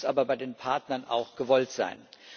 Es muss aber bei den Partnern auch gewollt sein.